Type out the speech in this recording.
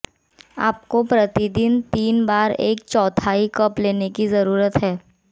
आपको प्रति दिन तीन बार एक चौथाई कप लेने की जरूरत है